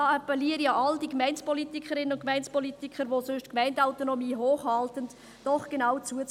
Ich appelliere an alle Gemeindepolitikerinnen und Gemeindepolitiker, die sonst die Gemeindeautonomie hochhalten, genau zuzuhören: